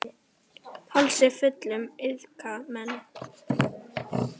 Hálsi fullum iðka menn.